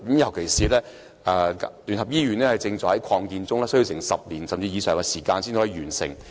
尤其聯合醫院正在擴建中，工程須時10年或更長的時間才能完成。